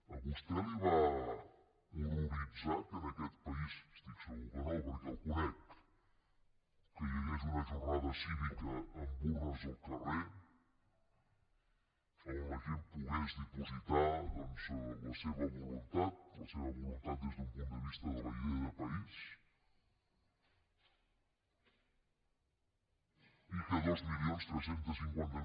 a vostè el va horroritzar que en aquest país estic segur que no perquè el conec hi hagués una jornada cívica amb urnes al carrer on la gent pogués dipositar la seva voluntat la seva voluntat des d’un punt de vista de la idea de país i que dos mil tres cents i cinquanta